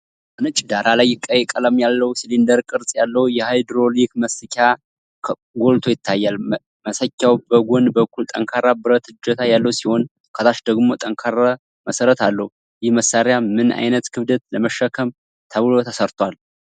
በነጭ ዳራ ላይ ቀይ ቀለም ያለው፣ ሲሊንደር ቅርጽ ያለው የሃይድሮሊክ መሰኪያ ጎልቶ ይታያል። መሰኪያው በጎን በኩል ጠንካራ ብረት እጀታ ያለው ሲሆን፣ ከታች ደግሞ ጠንካራ መሠረት አለው። ይህ መሳሪያ ምን ዓይነት ክብደት ለመሸከም ተብሎ ተሰርቷል?